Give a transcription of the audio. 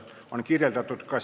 Head kolleegid!